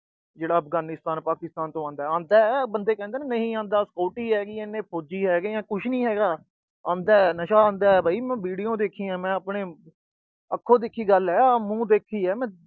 ਜਿਹੜਾ ਅਫਗਾਨਿਸਤਾਨ, ਪਾਕਿਸਤਾਨ ਤੋਂ ਆਉਂਦਾ, ਆਉਂਦਾ ਬੰਦੇ ਕਹਿੰਦੇ ਆ ਨਹੀਂ ਆਂਦਾ, ਐਨੀ security ਹੈਗੀ, ਫੌਜੀ ਹੈਗੇ ਨੇ, ਕੁਛ ਨੀ ਹੈਗਾ। ਆਉਂਦਾ, ਨਸ਼ਾ ਆਉਂਦਾ ਵੀ। ਮੈਂ video ਦੇਖੀ ਆ, ਮੈਂ ਆਪਣੇ ਅੱਖੋਂ ਦੇਖੀ ਗੱਲ ਆ, ਮੂੰਹੋਂ ਦੇਖੀ ਆ